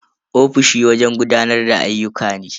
Ofishi wajen gudanar da ayyuka ne.